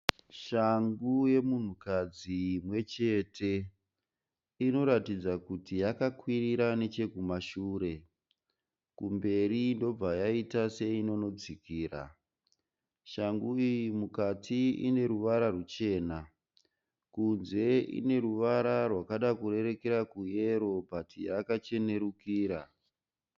Shangu yemunhukadzi imwechete. Inoratidza kuti yakakwirira nechekumashure kumberi ndobva yaita seinonodzikira. Shangu iyi mukati ine ruvara ruchena kunze ine ruvara rwakada kurerekera kuyero bhuti yakachenerukira.